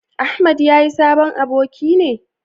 Ahmad ya yi sabon aboki ne?